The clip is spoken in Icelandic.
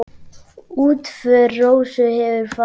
Útför Rósu hefur farið fram.